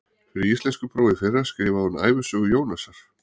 Fyrir íslenskupróf í fyrra skrifaði hún ævisögu Jónasar